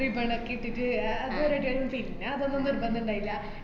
ribbon ക്കെ ഇട്ടിട്ട് ആഹ് അതൊരു പിന്നെ അതൊന്നും നിർബന്ധണ്ടായില്ല